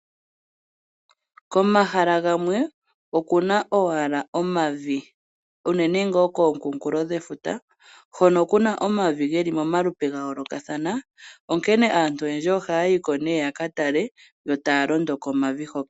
Komahala gamwe okuna owala omavi, unene tuu kookunkulo dhefuta ho kuna omavi geli momalupe gayolokathana , onkene aantu oyendji ohaayiko née yakatale yo taalondo komavi hoka.